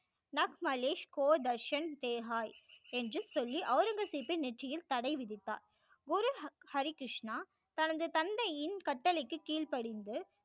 கோ தர்ஷன் தேகாய் என்று சொல்லி ஔரங்கசீப்பின் நெற்றியில் தடை விதித்தார் குரு ஹரி கிருஷ்ணா தனது தந்தையின் கட்டளைக்கு கீழ்ப்படிந்து